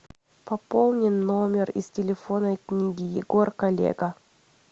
пополни номер из телефонной книги егор коллега